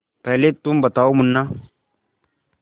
पहले तुम बताओ मुन्ना